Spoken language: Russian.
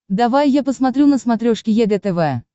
давай я посмотрю на смотрешке егэ тв